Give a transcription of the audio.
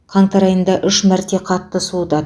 қаңтар айында үш мәрте қатты суытады